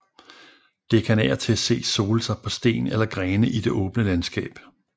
Det kan af og til ses sole sig på sten eller grene i det åbne landskab